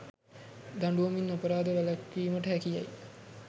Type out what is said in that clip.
දඬුවමින් අපරාධ වැළැක්වීමට හැකි යැයි